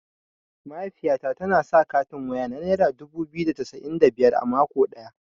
Mahaifiyata tana sa katin waya na naira dubu biyu da cassa'in da biyar a mako ɗaya.